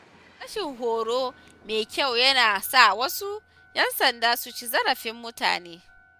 Rashin horo mai kyau yana sa wasu ‘yan sanda su ci zarafin mutane.